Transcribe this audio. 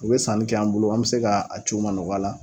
U bɛ sanni kɛ an bolo an bɛ se ka a ci u ma nɔgɔya la.